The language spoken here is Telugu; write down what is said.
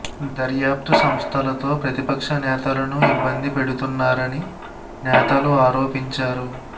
దర్యాప్తు సంస్థలతో ప్రతిపక్ష నేతలను ఇబ్బంది పెడుతున్నారని నేతలు ఆరోపించారు